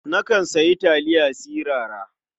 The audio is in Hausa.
Nakan sayi taliya sirara.